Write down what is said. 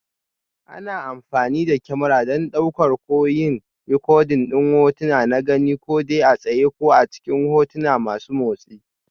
Ana amfani da kyamara don ɗauka ko yin rikodin hotuna na gani, ko dai a tsaye ko a cikin hotuna masu motsi.